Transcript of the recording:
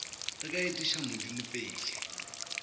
re ka etiša modimo pele